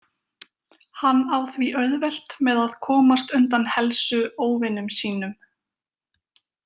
Hann á því auðvelt með að komast undan helsu óvinum sýnum.